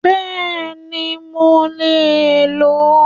Béèni mo lè ló